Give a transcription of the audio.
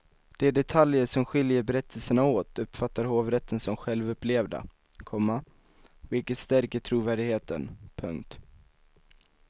De detaljer som skiljer berättelserna åt uppfattar hovrätten som självupplevda, komma vilket stärker trovärdigheten. punkt